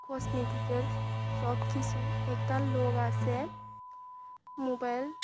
কসমেটিকের সবকিসু একতা লোক আছে মোবাইল ।